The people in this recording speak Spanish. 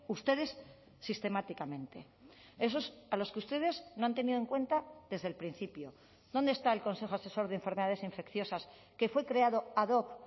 ustedes sistemáticamente esos a los que ustedes no han tenido en cuenta desde el principio dónde está el consejo asesor de enfermedades infecciosas que fue creado ad hoc